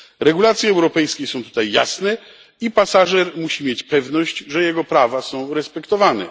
Regulacje europejskie są tutaj jasne i pasażer musi mieć pewność, że jego prawa są respektowane.